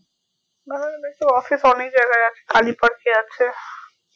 bandhan bank এর office অনেক জাগাই আছে কালিপঞ্চে আছে